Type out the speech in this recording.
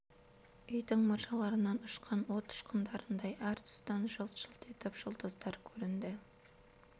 үйдің мұржаларынан ұшқан от ұшқындарындай әр тұстан жылт-жылт етіп жұлдыздар көрінді